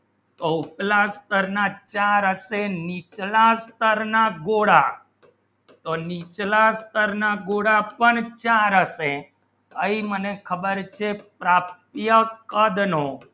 તો ઊચલા સ્તર ના ચાર નીચલા સ્તર ના ગોળા તો નીચલા સ્તર ના ગોળા પણ ચાર અસે કઈ મને ખબર છે પ્રાપ્ત્ય કે બનો